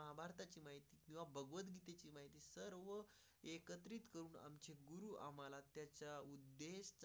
आम्हाला त्याच्यापेक्षा एकत्रित करून आमचे गुरु आम्हाला त्याच्यामुळे.